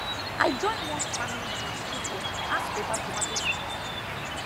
i join one farming group through phone ask about tomato sickness